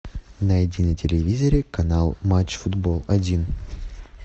найди на телевизоре канал матч футбол один